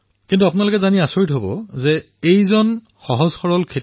কিন্তু আপুনি জানি আচৰিত হব যে গুৰবচন সিং আছিল সৰল কৃষক